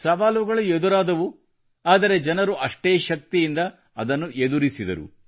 ಸವಾಲುಗಳು ಎದುರಾದವು ಆದರೆ ಜನರು ಅಷ್ಟೇ ಶಕ್ತಿಯಿಂದ ಅದನ್ನು ಎದುರಿಸಿದರು